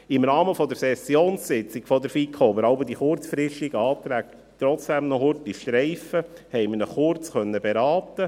Im Rahmen der Sessionssitzung der FiKo, an der wir jeweils die kurzfristigen Anträge doch noch streifen, konnten wir ihn kurz beraten.